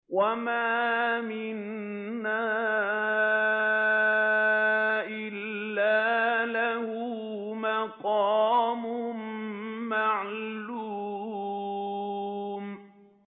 وَمَا مِنَّا إِلَّا لَهُ مَقَامٌ مَّعْلُومٌ